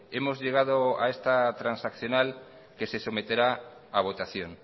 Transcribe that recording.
hemos llegado a esta transaccional que se someterá a votación